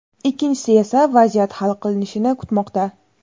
ikkinchisi esa vaziyat hal qilinishini kutmoqda.